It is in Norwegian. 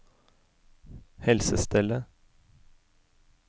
helsestellet